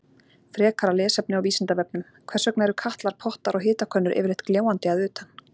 Frekara lesefni á Vísindavefnum: Hvers vegna eru katlar, pottar og hitakönnur yfirleitt gljáandi að utan?